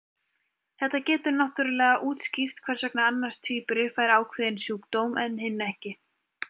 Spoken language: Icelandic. Þetta getur náttúrulega útskýrt hvers vegna annar tvíburi fær ákveðinn sjúkdóm en hinn ekki.